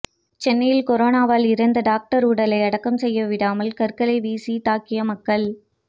சென்னையில் கொரோனாவால் இறந்த டாக்டர் உடலை அடக்கம் செய்ய விடாமல் கற்களை வீசி தாக்கிய மக்கள்